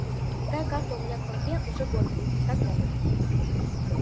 такая карта у меня в компе уже год стоит и так далее